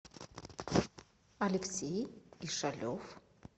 алексей ишалев